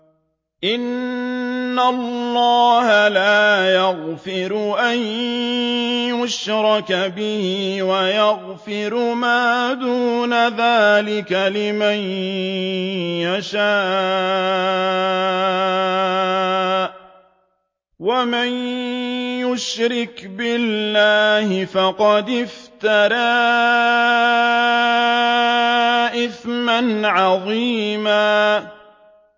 إِنَّ اللَّهَ لَا يَغْفِرُ أَن يُشْرَكَ بِهِ وَيَغْفِرُ مَا دُونَ ذَٰلِكَ لِمَن يَشَاءُ ۚ وَمَن يُشْرِكْ بِاللَّهِ فَقَدِ افْتَرَىٰ إِثْمًا عَظِيمًا